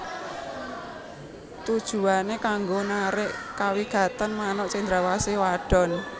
Tujuwané kanggo narik kawigatèn manuk cendrawasih wadon